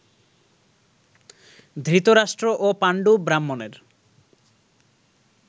ধৃতরাষ্ট্র ও পাণ্ডু ব্রাহ্মণের